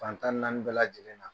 Fantan naani bɛƐ lajɛlen na